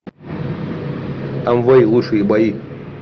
амвей лучшие бои